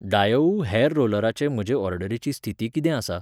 डायोउ hair रोलराचे म्हजे ऑर्डरीची स्थिती कितें आसा?